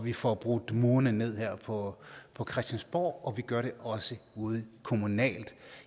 vi får brudt murene ned her på på christiansborg og vi gør det også ude kommunalt